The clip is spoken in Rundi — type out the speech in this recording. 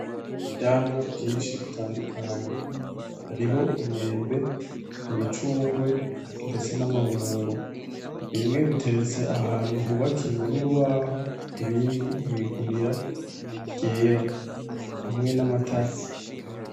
Ivyamwa vyinshi bitandukanye hariho imyembe, imicungwe ndetse namabungo bimwe biteretse ahantu hubakiwe nurubaho ibindi mwigunira ryera hamwe namatase.